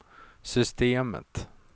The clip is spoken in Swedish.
systemet